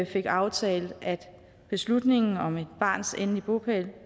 fik aftalt at beslutningen om et barns endelige bopæl